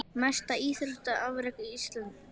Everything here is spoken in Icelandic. Mesta íþróttaafrek Íslendings?